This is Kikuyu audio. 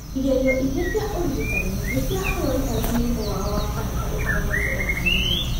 Igerio ingĩ cia ũrigitani nĩ cia arũaru arĩa mũrimũ wao wa kanca ũtahonete o na hanini.